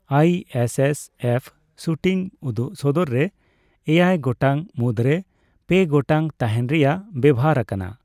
ISSF shooting ᱩᱫᱩᱜ ᱥᱚᱫᱚᱨ ᱨᱮ, ᱮᱭᱟᱭ ᱜᱟᱴᱟᱝ ᱢᱩᱫᱨᱮ ᱓ᱯᱮ ᱜᱟᱴᱟᱝ ᱛᱟᱦᱮᱸᱱ ᱨᱮᱭᱟᱜ ᱵᱮᱣᱦᱟᱨ ᱟᱠᱟᱱᱟ ᱾